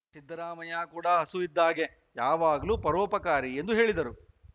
ಸಿದ್ದರಾಮಯ್ಯ ಕೂಡ ಹಸು ಇದ್ದ ಹಾಗೇ ಯಾವಾಗಲೂ ಪರೋಪಕಾರಿ ಎಂದು ಹೇಳಿದರು